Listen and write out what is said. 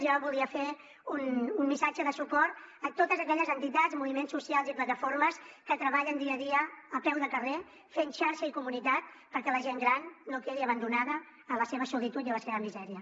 jo volia fer un missatge de suport a totes aquelles entitats moviments socials i plataformes que treballen dia a dia a peu de carrer fent xarxa i comunitat perquè la gent gran no quedi abandonada a la seva solitud i a la seva misèria